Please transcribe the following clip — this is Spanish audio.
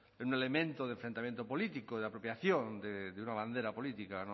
en un elemento de enfrentamiento político de apropiación de una bandera política